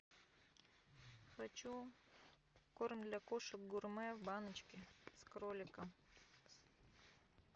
хочу корм для кошек гурме в баночке с кроликом